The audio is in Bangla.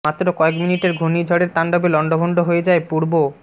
মাত্র কয়েক মিনিটের ঘুর্নিঝড়ের তাণ্ডবে লন্ডভন্ড হয়ে যায় পূর্ব